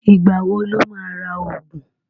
Ìgbà wo lo má ra ògùn?